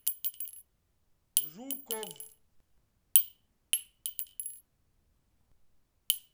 жуков